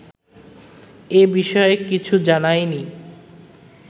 এ বিষয়ে কিছু জানায়নি